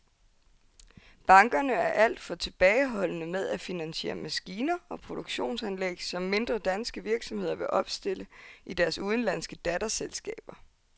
Bankerne er alt for tilbageholdende med at finansiere maskiner og produktionsanlæg, som mindre danske virksomheder vil opstille i deres udenlandske datterselskaber.